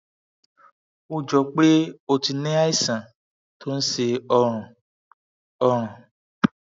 ó jọ pé o ti ní o ti ní àìsàn tó ń ṣe ọrùn ọrùn